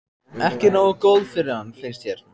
Ekki nógu góð fyrir hann, finnst þér.